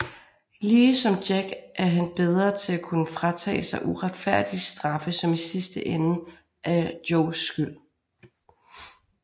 Lige som Jack er han bedre til at kunne fratage sig uretfærdige straffe som i sidste ende er Joes skyld